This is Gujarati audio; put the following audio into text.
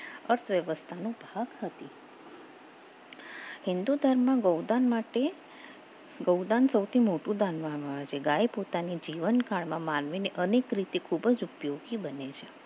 હિન્દુ ધર્મ માટે ગોદાન માટે ગોદાન સૌથી મોટું દાન માનવામાં ગાય પોતાની જીવન કાળમાં માનવીની અનેક રીતે ખૂબ જ ઉપયોગી બને છે